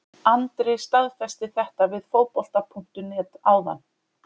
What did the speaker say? Andri staðfesti þetta við Fótbolta.net áðan.